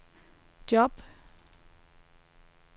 job